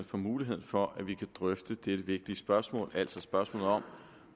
for muligheden for at vi kan drøfte dette vigtige spørgsmål altså spørgsmålet om